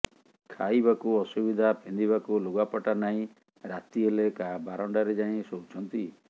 ଖାଇବାକୁ ଅସୁବିଧା ପିନ୍ଧିବାକୁ ଲୁଗାପଟା ନାହିଁ ରାତି ହେଲେ କାହା ବାରଣ୍ଡାରେ ଯାଇ ଶୋଉଛନ୍ତି